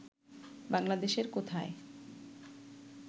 বাংলাদেশের কোথায়